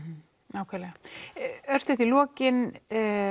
nákvæmlega örstutt í lokin